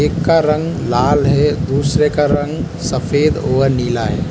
एक का रंग लाल है दूसरे का रंग सफेद और नीला है।